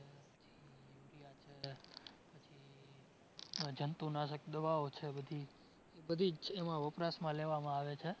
પછી યુરિયા છે પછી જંતુનાશક દવાઓ છે બધી, એ બધીજ એમાં વપરાશમાં લેવામાં આવે છે.